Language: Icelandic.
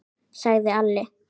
sagði Alli.